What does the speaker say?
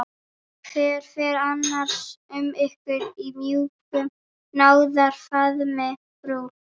Hvernig fer annars um ykkur í mjúkum náðarfaðmi frú